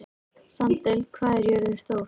Sandel, hvað er jörðin stór?